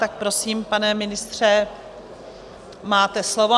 Tak prosím, pane ministře, máte slovo.